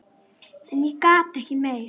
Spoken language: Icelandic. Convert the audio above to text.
En ég gat ekki meir.